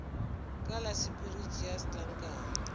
ka la sephiri tšea setlankana